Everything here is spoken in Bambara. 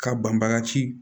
Ka banbaga ci